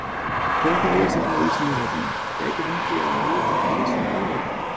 Frekara lesefni á Vísindavefnum: Gæti ég fengið að vita það helsta um kolefni?